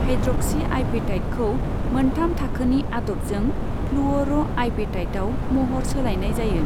हायड्र'क्सिआपेटाइटखौ मोनथाम थाखोनि आदबजों फ्लुअर'आपेटाइटआव महर सोलायनाय जायो।